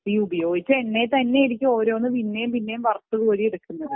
ഈ ഉപയോഗിച്ച എണ്ണയിൽ തന്നെയായിരിക്കും പിന്നേം പിന്നേം വറുത്തു കോരി എടുക്കുന്നത്